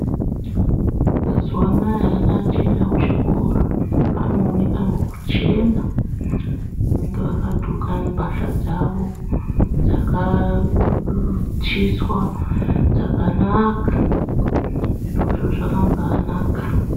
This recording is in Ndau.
Mazuwa anaa ana achaenda kuchikora anooneka ngekuchena vanenga vakadloka mbahla dzavo dzakaaauuu chiswa dzakanaka zvirozvo zvakambaanaka